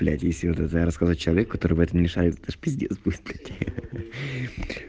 блять если вот это рассказать человеку который в этом не шарит это ж пиздец будет